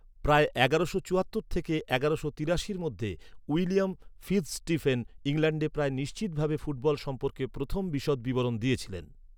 প্রায় এগারোশো চুয়াত্তর থেকে এগারোশো তিরাশির মধ্যে উইলিয়াম ফিৎজস্টিফেন ইংল্যান্ডে প্রায় নিশ্চিতভাবে ফুটবল সম্পর্কে প্রথম বিশদ বিবরণ দিয়েছিলেন।